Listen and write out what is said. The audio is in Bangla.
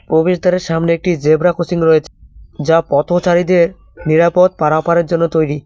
প্রবেশদ্বারের সামনে একটি জেব্রা ক্রসিং রয়েছে যা পথচারীদের নিরাপদ পারাপারের জন্য তৈরি।